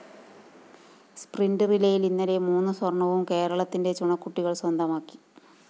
sprint റിലേയില്‍ ഇന്നലെ മൂന്ന് സ്വര്‍ണ്ണവും കേരളത്തിന്റെ ചുണക്കുട്ടികള്‍ സ്വന്തമാക്കി